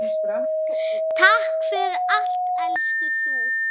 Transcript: Takk fyrir allt elsku þú.